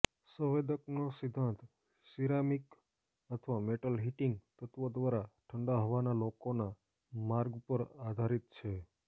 સંવેદકનો સિદ્ધાંત સીરૅમિક અથવા metal heating તત્વો દ્વારા ઠંડા હવાના લોકોના માર્ગ પર આધારિત છે